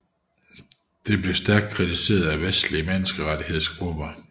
Dette blev stærkt kritiseret af vestlige menneskerettighedsgrupper